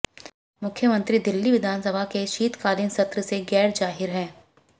मुख्यमंत्री दिल्ली विधानसभा के शीतकालीन सत्र से गैरहाजिर हैं